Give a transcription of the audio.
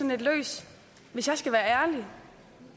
lidt løs hvis jeg skal være ærlig